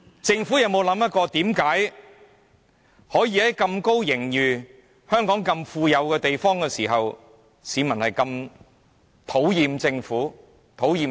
政府有否想過，為何盈餘那麼充裕，市民竟如此討厭政府及預算案？